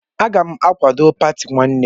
Agam akwado pati nwannem